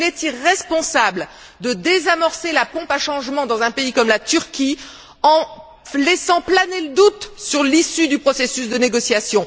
Il est irresponsable de désamorcer la pompe à changement dans un pays comme la Turquie en laissant planer le doute sur l'issue du processus de négociation.